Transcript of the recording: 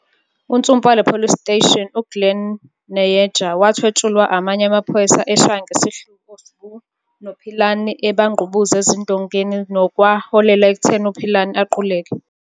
Unsumpa wale police station u Glen Nayeger wathwetshulwa amanye amaphoyisa eshaya ngesihluku o Sbu no Philani ebangqubuza ezindongeni nokwa holela ekutheni u Philani aquleke.